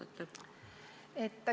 Aitäh!